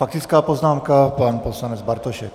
Faktická poznámka - pan poslanec Bartošek.